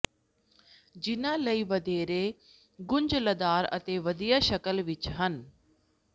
ਜਿਨ੍ਹਾਂ ਲਈ ਵਧੇਰੇ ਗੁੰਝਲਦਾਰ ਅਤੇ ਵਧੀਆ ਸ਼ਕਲ ਵਿਚ ਹਨ